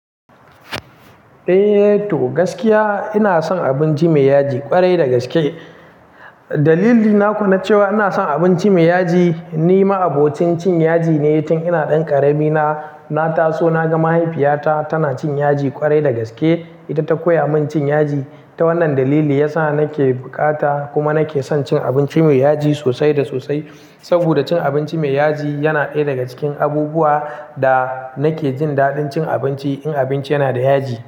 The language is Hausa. Eh to, gaskiya ina son abinci mai yaji ƙwarai da gaske. Dalili na kuwa na cewa ina son abinci mai yaji ni ma abotin cin yaji ne tun ina ɗan ƙarami na. Na taso na ga mahaifiyata tana cin yaji ƙwarai da gaske, ita ta koya min cin yaji. Ta wannan dalili ya sa nake bukata kuma nake son cin abinci mai yaji sosai da sosai. Saboda cin abinci mai yaji yana ɗaya daga cikin abubuwa da nake jin daɗin cin abinci in abinci yana da yaji.